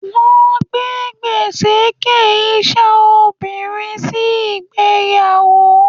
Wọ́n gbé gbèséke iṣẹ́ obìnrin sí ìgbéyàwó.